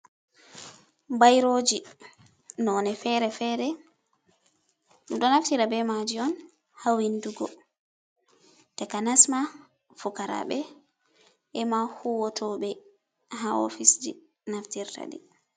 Bairoji none fere-fere, ɗo naftira be maji on ha windugo ta kanasma fukarabe ema huwatoɓe ha ofis ji naftirtaɗi